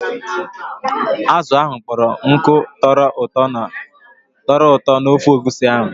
Azụ ahụ kpọrọ nkụ tọrọ ụtọ n'ofe egusi ahụ.